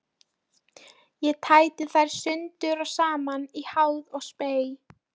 Ég tæti þær sundur og saman í háði og spéi.